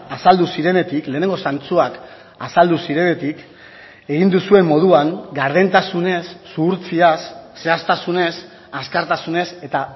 azaldu zirenetik lehenengo zantzuak azaldu zirenetik egin duzuen moduan gardentasunez zuhurtziaz zehaztasunez azkartasunez eta